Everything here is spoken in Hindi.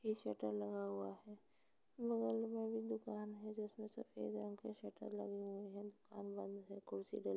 ये शटर लगा हुआ है। बगल वाली दुकान है जिसमे सफेद रंग का शटर लगा हुआ है। दुकान बंद है कुर्सी डली --